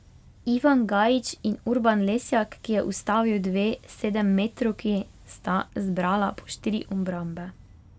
Ivan Gajić in Urban Lesjak, ki je ustavil dve sedemmetrovki, sta zbrala po štiri obrambe.